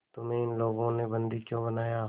तुम्हें इन लोगों ने बंदी क्यों बनाया